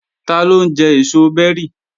Taló ń jẹ èso bẹ́rì?